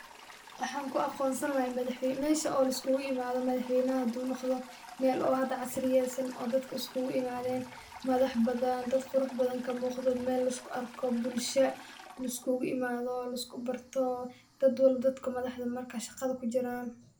Wxanku aqonsan halay mesha o laiskugu imada madax weynaha hadu noqdo Mel oo hada xasriyeysan oo dadka iskuguimaden madhax badan dad qurux badan, kamuqdo Mel laisku arko bulsha liskugu imado, laisku barto, dadwalba dadka madaxda, marka shaqada kujiran.